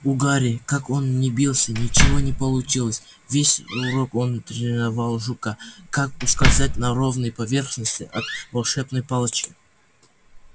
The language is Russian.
у гарри как он ни бился ничего не получилось весь урок он тренировал жука как ускользать на ровной поверхности от волшебной палочки